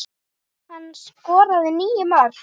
Hann skoraði níu mörk.